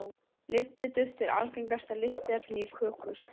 lyftiduft er algengasta lyftiefnið í köku uppskriftum